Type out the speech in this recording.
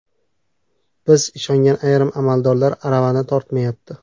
Biz ishongan ayrim amaldorlar aravani tortmayapti.